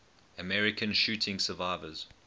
american shooting survivors